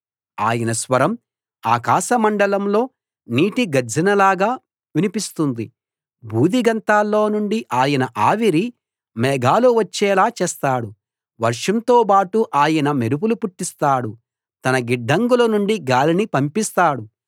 ఆయన స్వరం ఆకాశమండలంలో నీటి గర్జనలాగా వినిపిస్తుంది భూదిగంతాల్లో నుండి ఆయన ఆవిరి మేఘాలు వచ్చేలా చేస్తాడు వర్షంతో బాటు ఆయన మెరుపులు పుట్టిస్తాడు తన గిడ్డంగుల నుండి గాలిని పంపిస్తాడు